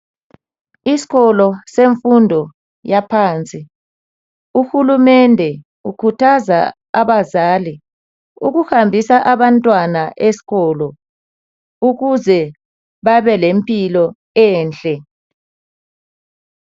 Isikolo semfundo yaphansi. Uhulumende ukhuthaza abazali ukuhambisa abantwana esikolo ukuze babelempilo enhle.